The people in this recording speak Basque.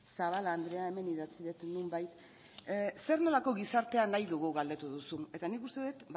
zabala andrea hemen idatzi dut nonbait zer nolako gizartea nahi dugu galdetu duzu eta nik uste dut